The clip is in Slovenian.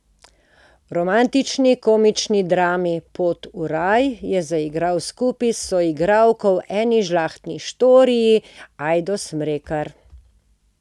V romantični komični drami Pot v raj je zaigral skupaj s soigralko v Eni žlahtni štoriji Ajdo Smrekar.